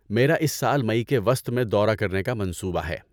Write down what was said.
میرا اس سال مئی کے وسط میں دورہ کرنے کا منصوبہ ہے۔